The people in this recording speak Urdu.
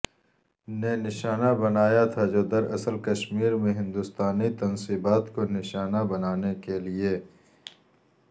نے نشانہ بنایا تھا جو دراصل کشمیر میں ہندوستانی تنصیبات کو نشانہ بنانے کیلئے